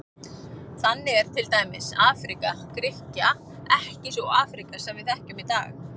Þannig er til dæmis Afríka Grikkja ekki sú Afríka sem við þekkjum í dag.